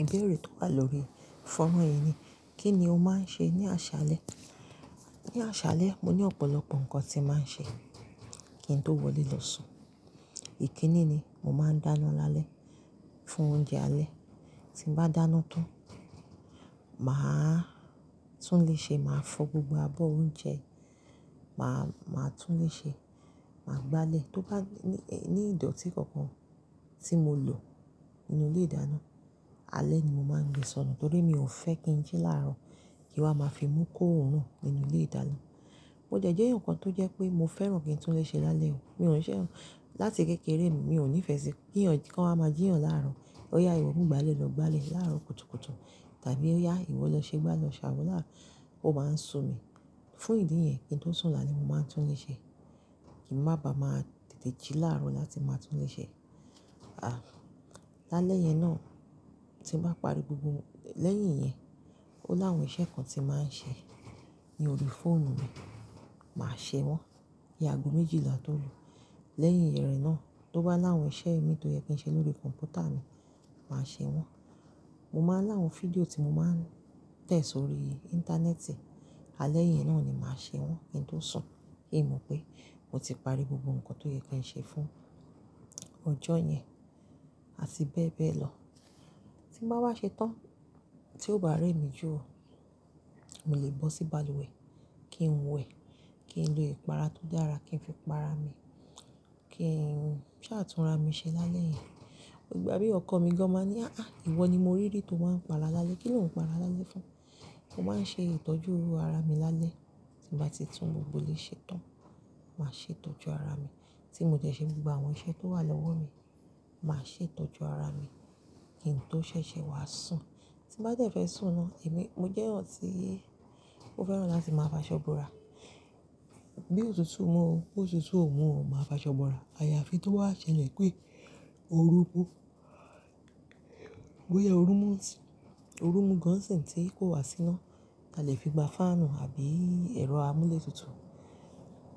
Ìbéèrè tó wà lórí fọ́nrán yìí ni, kí ni o máa ń ṣe ní àṣálẹ́? Ní àṣálẹ́, mo ní ọ̀pọ̀lọpọ̀ nǹkan tí màá ń ṣe kí n tó wọlé lọ sùn. Ikínní ni, mo màá n dáná lálẹ́ fún oúnjẹ alẹ́. Tí bàá dáná tán, màá tún le ṣe máa fọ gbogbo abọ́ oúnjẹ, màá tún le ṣe máa gbálẹ̀. Tó bá ní ìdọ̀tí kankan tí mo lò nínú ilé-ìdáná, alẹ́ ni mo máa gbé sọnù nítorí mi ò fẹ́ kí ń jí láàárọ̀ kí wọ́n máa fi mú kó òórùn nínú ilé-ìdáná. Mo jẹ̀ ẹ́ jẹ́ nǹkan tó jẹ́ pé mo fẹ́ràn kí n tún le ṣe lálẹ́ o. Mi ò ṣẹ̀ràn láti kékeré, mi ò nífẹ̀ẹ́ sí kí ọ̀rọ̀ kan á máa jí ọ̀rọ̀ láàárọ̀, kó yá ìwọ mú gbálẹ̀ lọ gbálẹ̀ láàárọ̀ kùtùkùtù tàbí ó yá ìwọ lọ ṣe gbá lọ ṣàwọ náà oó máa ń sumi. Fún ìdí yen, kí n tó sùn lálẹ́, màá tún le ṣe kí mo má ba à má tètè jí láàárọ̀ láti máa tún le ṣe. Àá, lálẹ́ yẹn náà tí mo bá parí gbogbo lẹ́yìn yẹn, ó láwọn iṣẹ́ kan tí màá ń ṣe ní orí fóònù mi, màá ṣe wọ́n. Ki àgo méjìlá tó lu. Lẹ́yìn ère náà, tó bá láwọ iṣẹ́ mi tó yẹ kí n ṣe lórí kọ̀mpútà mi, màá ṣe wọ́n. Mo máa láwọn fídíò tí mo máa ń tẹ̀ sórí Íńtánẹ́ẹ̀tì, alẹ́ yẹn náà ni màá ṣe wọ́n kí n tó sùn kí ì mọ̀ pé mo ti parí gbogbo nǹkan tó yẹ kí n ṣe fún ọjọ́ yẹn àti bẹ́ẹ̀ bẹ́ẹ̀ lọ. Tí bàá wá ṣe tán tí ó bá rẹ́ mi jù o, mo lè bọ́ sí balùwẹ̀ kí n wẹ̀, kí n lo ìpara tó dára kí n fi para mi, kí n ṣàtúnra mi ṣe lálẹ́ yẹn. Ìgbà mìíràn ọkọ mi gan-an máa ní, "Àá ìwọ ni mo rí dé tó máa ń para lálẹ́. Kí ni o ń para lálẹ́ fún?" Mo máa ń ṣe ìtọ́jú ara mi lálẹ́. Tí mo bá ti tún gbogbo ilé ṣe tán, màá ṣe ìtọ́jú ara mi. Tí mo jẹ̀ ṣe gbogbo àwọn iṣẹ́ tó wà lọ́wọ́ mi, màá ṣe ìtọ́jú ara mi kí n tó ṣẹ̀ṣẹ̀ wá sùn. Tí bàá jẹ̀ fẹ́ sùn náà, èmi mo jẹ́ ọ̀n síí tí ó fẹ́ràn láti máa fa ṣọ́bùrà. Bí òtútù mu ó, bó ti tú òun mú ó, màá fa ṣọ́bùrà. Àyààfi tó bá ṣẹlẹ̀ pé oru mú, bóyá oru mú sìn, oru mú gan ṣin tí kò wá sí iná, a lè fi gba fáànù àbí ẹ̀rọ amúlétutù.